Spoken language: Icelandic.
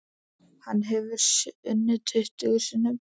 Hann hefur unnið tuttugu sinnum.